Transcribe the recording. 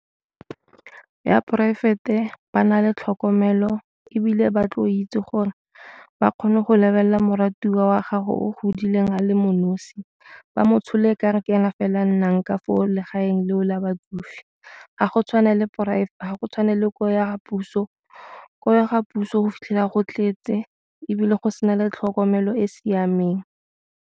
Ya poraefete ba na le tlhokomelo ebile ba tlo o itse gore ba kgone go lebelela moratiwa wa gago o godileng a le mo nosi, ba mo tshole e kare ke ena fela nnang ka for legaeng leo la batsofe. Ga go tshwane le ko ya puso ko ga puso go fitlhela go tletse ebile go sena le tlhokomelo e e siameng.